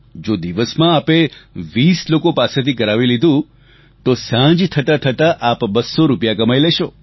જો દિવસમાં આપે 20 લોકો પાસેથી કરાવી લીધું તો સાંજ થતાં થતાં આપ 200 રૂપિયા કમાઈ લેશો